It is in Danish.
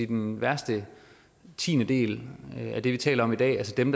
den værste tiendedel af det vi taler om i dag altså dem